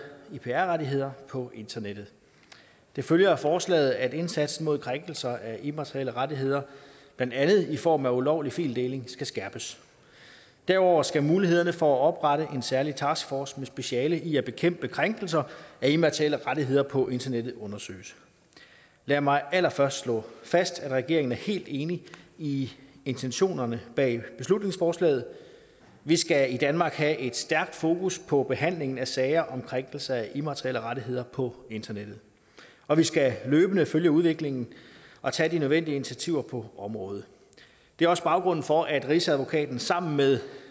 ip rettigheder på internettet det følger af forslaget at indsatsen mod krænkelser af immaterielle rettigheder blandt andet i form af ulovlig fildeling skal skærpes derudover skal mulighederne for at oprette en særlig taskforce med speciale i at bekæmpe krænkelser af immaterielle rettigheder på internettet undersøges lad mig allerførst slå fast at regeringen er helt enig i intentionerne bag beslutningsforslaget vi skal i danmark have et stærkt fokus på behandlingen af sager om krænkelse af immaterielle rettigheder på internettet og vi skal løbende følge udviklingen og tage de nødvendige initiativer på området det er også baggrunden for at rigsadvokaten sammen med